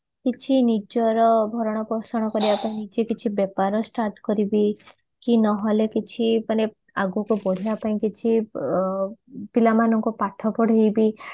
କିଛି ନିଜର ଭରଣ ପୋଷଣ କରିବା ପାଇଁ ନିଜେ କିଛି ବେପାର start କରିବି କି ନହଲେ କିଛି ମାନେ ଆଗକୁ ବଢିବା ପାଇଁ କିଛି ପିଲାମାନଙ୍କୁ ପାଠ ପଢେଇବି